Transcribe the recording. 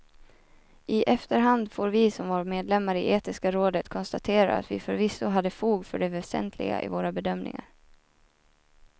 I efterhand får vi som var medlemmar i etiska rådet konstatera att vi förvisso hade fog för det väsentliga i våra bedömningar.